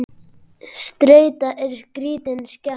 Streita er skrítin skepna.